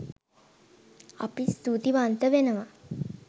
අපි ස්තුතිවන්ත වෙනවා